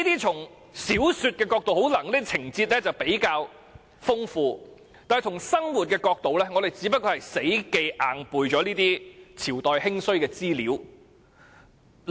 從小說角度來看，這些情節可能比較豐富，但從生活角度來看，學生只不過是死記硬背那些朝代興衰的資料。